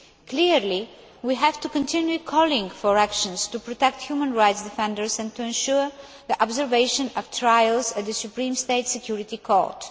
Clearly, we have to continue calling for actions to protect human rights defenders and to ensure the observation of trials at the Supreme State Security Court.